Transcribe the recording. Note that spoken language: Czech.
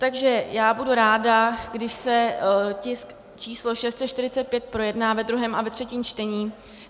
Takže já budu ráda, když se tisk číslo 645 projedná ve druhém a ve třetím čtení.